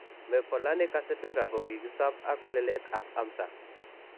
Mevalonic acidura kokikisob ak weleletab amsa.